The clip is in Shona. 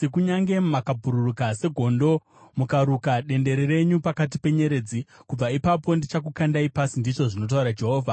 Kunyange mukabhururuka segondo mukaruka dendere renyu pakati penyeredzi, kubva ipapo ndichakukandai pasi,” ndizvo zvinotaura Jehovha.